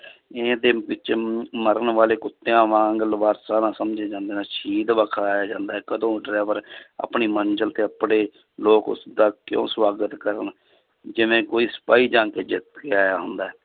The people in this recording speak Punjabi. ਇਹਦੇ ਵਿੱਚ ਮ~ ਮਰਨ ਵਾਲੇ ਕੁੱਤਿਆਂ ਵਾਂਗ ਵਖਾਇਆ ਜਾਂਦਾ ਹੈ ਕਦੋਂ driver ਆਪਣੀ ਮੰਜ਼ਿਲ ਤੇ ਉੱਪੜੇ ਲੋਕ ਉਸਦਾ ਕਿਉਂ ਸਵਾਗਤ ਕਰਨ ਜਿਵੇਂ ਕੋਈ ਸਿਪਾਹੀ ਜੰਗ ਜਿੱਤ ਕੇ ਆਇਆ ਹੁੰਦਾ ਹੈ।